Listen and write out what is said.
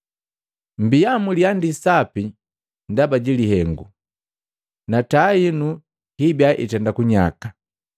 “Mbia muliandii sapi ndaba ji lihengu, na taa hinu hibiya itenda kunyaka,